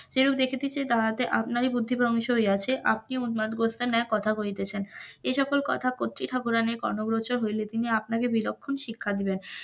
এ দেখিতেছি আপনার ও বুদ্ধি ভ্রংশ হইয়াছে আপনি উন্মাদ গোত্রের ন্যায় কথা কহিতেছেন, এই সকল কথা কত্রী ঠাকুরাণের কর্ণ গোচর হইলে তিনি আপনাকে বিলক্ষণ শিক্ষা দিবেন,